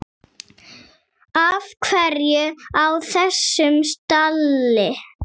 Af hverju á þessum stalli?